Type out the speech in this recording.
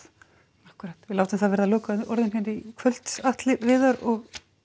akkúrat við látum það verða lokaorðin hér í kvöld Atli Viðar og